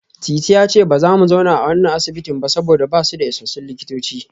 Titi ya ce ba za su zauna a wannan asibitin jiya ba saboda ba su da isassun likitoci